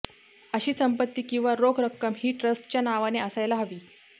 अशी संपत्ती किंवा रोख रक्कम ही ट्रस्टच्या नावाने असायला हवी